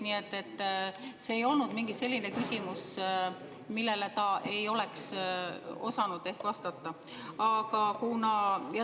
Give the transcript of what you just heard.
Nii et see ei olnud mingi selline küsimus, millele ta ei oleks osanud vastata.